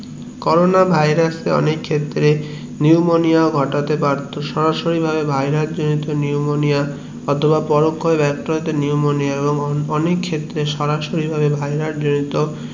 corona virus কে অনেক ক্ষেত্রে pneumonia ঘটাতে পারতো সরাসরি ভাবে virus জড়িত নিউমোনিয়া এবং পরোক্ষনে নিউমোনিয়া অনেক ক্ষেত্রে সরাসরি ভাবে virus